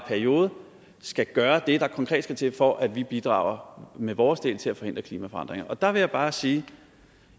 periode skal gøre det der skal til for at vi bidrager med vores del til at forhindre klimaforandringerne der vil jeg bare sige